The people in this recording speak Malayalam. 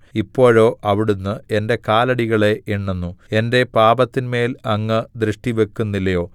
ഇപ്പോഴോ അവിടുന്ന് എന്റെ കാലടികളെ എണ്ണുന്നു എന്റെ പാപത്തിന്മേൽ അങ്ങ് ദൃഷ്ടിവക്കുന്നില്ലയോ